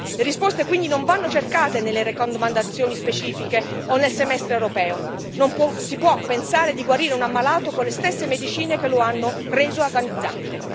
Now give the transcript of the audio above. Le risposte, quindi, non vanno cercate nelle raccomandazioni specifiche o nel Semestre europeo, non si può pensare di guarire un ammalato con le stesse medicine che lo hanno reso agonizzante.